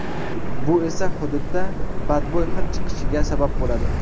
Bu esa hududda badbo‘y hid chiqishiga sabab bo‘ladi.